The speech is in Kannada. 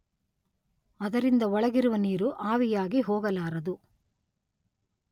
ಅದರಿಂದ ಒಳಗಿರುವ ನೀರು ಆವಿಯಾಗಿ ಹೋಗಲಾರದು.